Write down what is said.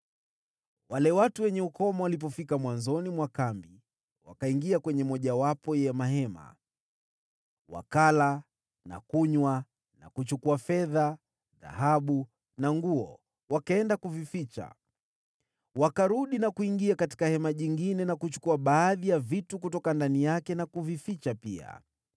Wale watu wenye ukoma walipofika mwanzoni mwa kambi, wakaingia kwenye mojawapo ya mahema. Wakala na kunywa, na kuchukua fedha, dhahabu na nguo, wakaenda kuvificha. Wakarudi na kuingia katika hema jingine, na kuchukua baadhi ya vitu kutoka ndani yake na kuvificha pia.